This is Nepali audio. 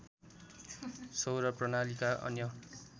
सौर प्रणालीका अन्य